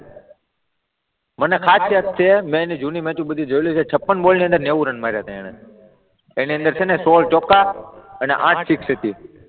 મને ખાસ યાદ છે મે એની જૂની મેચો બધી જોયેલી છે, છપ્પન બોલની અંદર નેવું રન માર્યા હતા એમણે, એની અંદર છે ને સોળ ચોક્કા અને આઠ સિક્સ હતી.